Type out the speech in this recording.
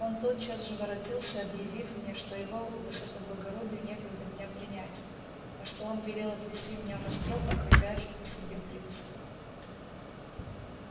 он тотчас же воротился объявив мне что его высокоблагородию некогда меня принять а что он велел отвести меня в острог а хозяюшку к себе привести